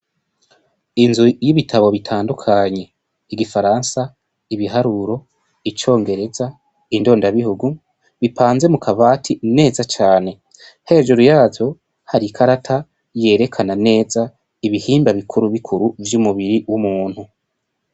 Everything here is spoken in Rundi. Inzu y'ibitabo bitandukanye igifaransa, ibiharuro, icongereza, indonda bihugu, bipanze mu kabati neza cane, hejuru yavyo hari ikarata yerekana neza ibihimba bikuru bikuru vy'umubiri w'umuntu.